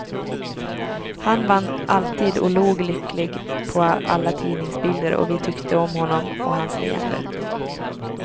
Han vann alltid och log lycklig på alla tidningsbilder och vi tyckte om honom och hans leende.